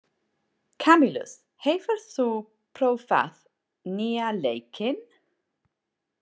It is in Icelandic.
Kamilus, hefur þú prófað nýja leikinn?